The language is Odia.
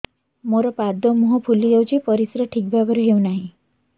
ମୋର ପାଦ ମୁହଁ ଫୁଲି ଯାଉଛି ପରିସ୍ରା ଠିକ୍ ଭାବରେ ହେଉନାହିଁ